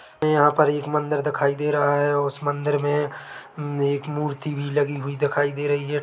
हरा-भरा पहाड़ है उस पर आदमी बैठा है सामने से पानी आ रहा है।